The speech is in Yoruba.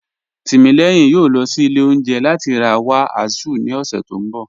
Timílẹyìn yòó lọ sí ilẹ̀ ọ̀unjẹ̀ lati ra wa Azu ni ọṣẹ̀ tó nbọ̀